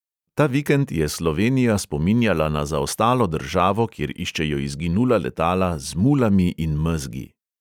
Ta vikend je slovenija spominjala na zaostalo državo, kjer iščejo izginula letala "z mulami in mezgi".